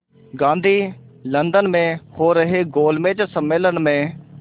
Gandhi London में हो रहे गोलमेज़ सम्मेलन में